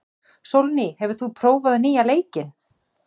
Sólný, hefur þú prófað nýja leikinn?